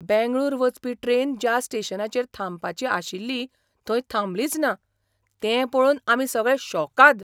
बेंगळूर वचपी ट्रेन ज्या स्टेशनाचेर थांबपाची आशिल्ली थंय थांबलीच ना, तें पळोवन आमी सगळें शॉकाद.